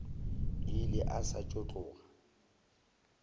ile a sa tšo tloga